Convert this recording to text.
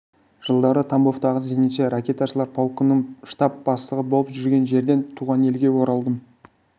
жылдары тамбовтағы зенитші-ракеташылар полкінің штаб бастығы болып жүрген жерден туған елге оралдым